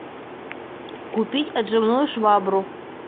купить отжимную швабру